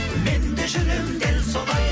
мен де жүремін дәл солай